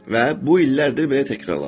Və bu illərdir belə təkrarlanır.